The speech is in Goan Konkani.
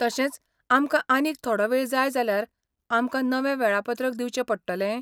तशेंच, आमकां आनीक थोडो वेळ जाय जाल्यार, आमकां नवें वेळापत्रक दिवचें पडटलें?